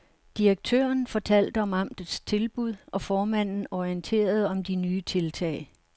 Direktøren fortalte om amtets tilbud, og formanden orienterede om de nye tiltag.